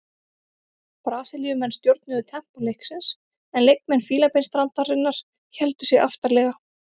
Brasilíumenn stjórnuðu tempó leiksins en leikmenn Fílabeinsstrandarinnar héldu sig aftarlega.